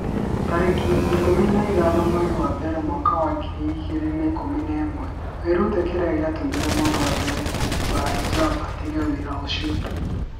tarĩki ikũmi na ithano mweri wa mbere mwaka wa ngiri igĩrĩ na ikũmi na ĩmweWĩrute kĩrĩa gĩatũmire mũndũ wa mbere kũhumba hijab 'atige wĩra ũcio.